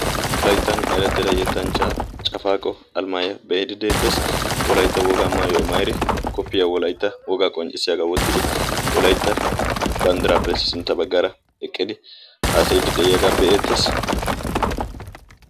wolayttan eratteda yettanchcha cafaaqo alimaayoy be'iidi deetees wolaytta wogaa maayo mayiidi koppiya wolaytta wogaa qonccissiyaagaa wottidi wolaytta banddiraappees sintta baggara eqqidi aasayiddi de'iyaagaa be'eettees